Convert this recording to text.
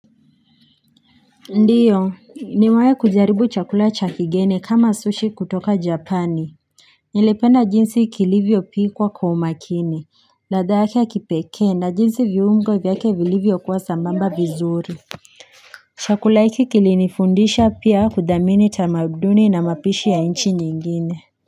Ndiyo nimewahi kujaribu chakula cha kigeni kama sushi kutoka japani nilipenda jinsi kilivyopikwa kwa umakini ladha yake ya kipekee na jinsi viungo vyake vilivyokuwa sambamba vizuri chakula hiki kilinifundisha pia kuthamini tamaduni na mapishi ya nchi nyingine.